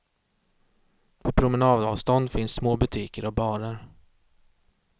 På promenadavstånd finns små butiker och barer.